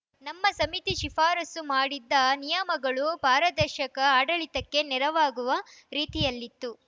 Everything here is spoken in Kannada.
ನಮ್ಮ ಸಮಿತಿ ಶಿಫಾರಸು ಮಾಡಿದ್ದ ನಿಯಮಗಳು ಪಾರದರ್ಶಕ ಆಡಳಿತಕ್ಕೆ ನೆರವಾಗುವ ರೀತಿಯಲ್ಲಿತ್ತು